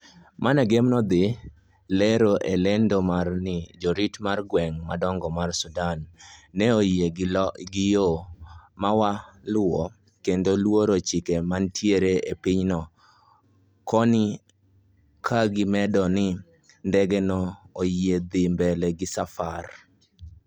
MANAGEM ne odhi lero e lendo mare ni jorit mar gweng maduong mar Sudan neoyie gi yoo mawaluo kendo luoro chike manitie e pinyno koni kagimedo ni ndege no oyiene dhi mbele gi safar